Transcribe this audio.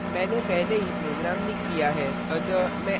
मैंने पहले ही program लिख लिया है